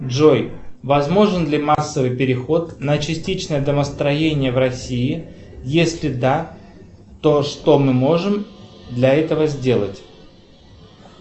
джой возможен ли массовый переход на частичное домостроение в россии если да то что мы можем для этого сделать